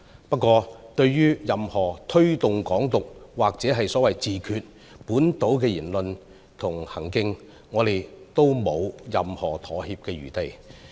不過，對於任何推動"港獨"或所謂"自決"的本土言論和行徑，我們都沒有任何妥協餘地。